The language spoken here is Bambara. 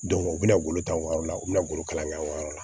u bɛ na bolo ta wari la u bɛna bolo kalan kɛ an yɛrɛ la